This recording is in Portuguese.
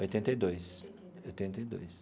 Oitenta e dois oitenta e dois.